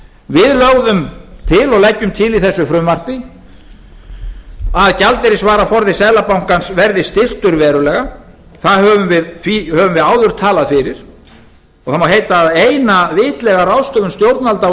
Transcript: við lögðum til og leggjum til í þessu frumvarpi að gjaldeyrisvaraforði seðlabankans verði styrktur verulega því höfum við áður talað fyrir og það má heita að eina vitlega ráðstöfun stjórnvalda á